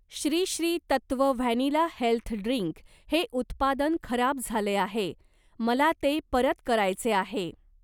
Shri Shri Tattva vanilla health drink हे उत्पादन खराब झाले आहे, मला ते परत करायचे आहे.